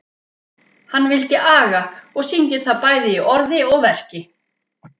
Hann vildi aga og sýndi það bæði í orði og verki.